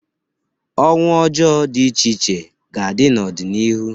Ọnwụ ọjọọ dị iche iche ga-adị n'ọdịnihu